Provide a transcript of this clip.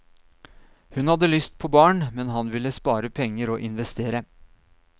Hun hadde lyst på barn, men han ville spare penger og investere.